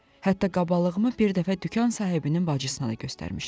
Hətta qabalığımı bir dəfə dükan sahibinin bacısına da göstərmişdim.